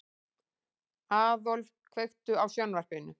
Aðólf, kveiktu á sjónvarpinu.